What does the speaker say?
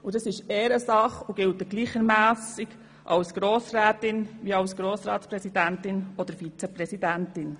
Das ist Ehrensache und gilt gleichermassen als Grossrätin wie auch als Grossratspräsidentin oder -vizepräsidentin.